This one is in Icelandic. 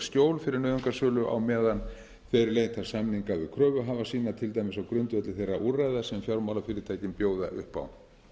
skjól fyrir nauðungarsölu á meðan þeir leita samninga við kröfuhafa sína til dæmis á grundvelli þeirra úrræða sem fjármálafyrirtækin bjóða upp á